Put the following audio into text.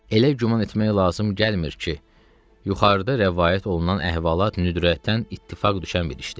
Elə güman etmək lazım gəlmir ki, yuxarıda rəvayət olunan əhvalat nüdrətdən ittifaq düşən bir işdir.